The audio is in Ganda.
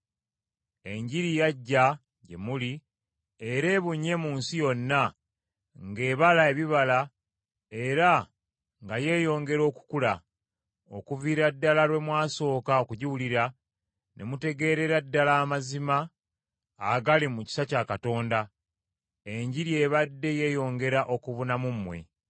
Enjiri yajja gye muli, era ebunye mu nsi yonna ng’ebala ebibala era nga yeeyongera okukula. Okuviira ddala lwe mwasooka okugiwulira, ne mutegeerera ddala amazima agali mu kisa kya Katonda, Enjiri ebadde yeeyongera okubuna mu mmwe.